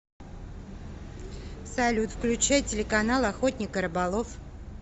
салют включай телеканал охотник и рыболов